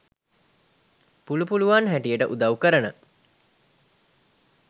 පුලු පුලුවන් හැටියට උදව් කරන